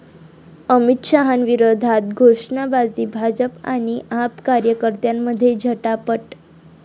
अमित शहांविरोधात घोषणाबाजी, भाजप आणि आप कार्यकर्त्यांमध्ये झटापट